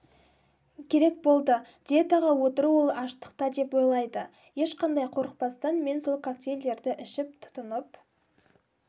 керек болды диетаға отыру ол аштықта деп ойлайды ешқандай қорықпастан мен сол коктейльдерді ішіп тұтынып